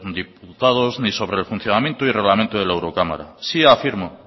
eurodiputados ni sobre el funcionamiento y el reglamento de la eurocámara sí afirmo